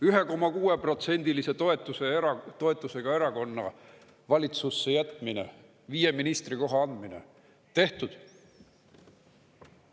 1,6%-lise toetusega erakonna valitsusse jätmine, viie ministrikoha andmine – tehtud.